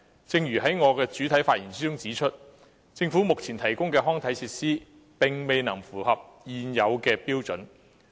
正如我在主體發言中指出，政府目前提供的康體設施並未符合現有標準。